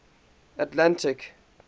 atlantic